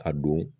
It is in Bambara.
A don